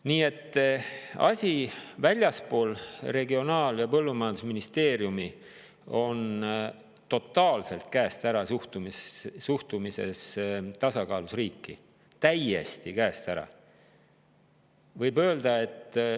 Nii et väljaspool Regionaal- ja Põllumajandusministeeriumi on suhtumine tasakaalus riiki täiesti, totaalselt käest ära.